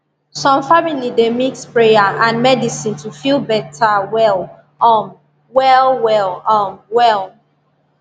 some people dey mix prayer and medicine to feel better well um well well um well